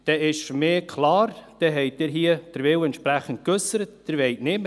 Dann ist für mich klar, dass Sie den Willen hier entsprechend geäussert haben, wonach Sie es nicht wollen.